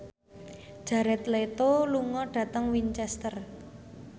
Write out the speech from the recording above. Jared Leto lunga dhateng Winchester